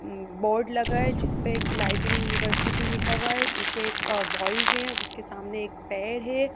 उम् board लगा है जिस पे एक लाइब्रेरी यूनिवर्सिटी लिखा हुआ है नीचे एक अअबॉयज है उसके सामने एक पैर है।